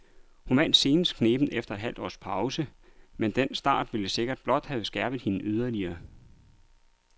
Hun vandt senest knebent efter et halvt års pause, men den start vil sikkert blot have skærpet hende yderligere.